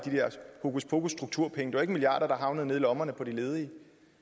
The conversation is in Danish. hokuspokusstrukturpenge det var ikke milliarder der havnede nede i lommerne på de ledige